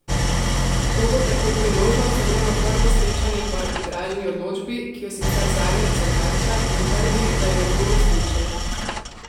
To bo tako priložnost za njuno prvo srečanje po arbitražni odločbi, ki jo sicer Zagreb zavrača in trdi, da je ne bo uresničil.